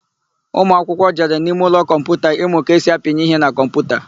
Ụmụakwụkwụ jere n'imeụlọ kọmputa ịmụ ka esi apịnye ihe na kọmputa.